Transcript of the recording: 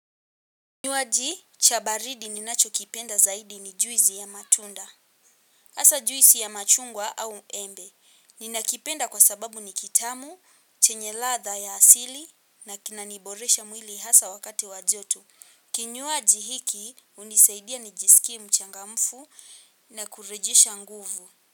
Kinywaji cha baridi ninachokipenda zaidi ni juisi ya matunda. Hasa juisi ya machungwa au embe. Ninakipenda kwa sababu ni kitamu, chenye ladha ya asili na kinaniboresha mwili hasa wakati wa joto. Kinywaji hiki, hunisaidia nijisikie mchangamfu na kurejesha nguvu.